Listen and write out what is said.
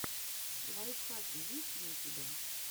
лайфхаки есть ли у тебя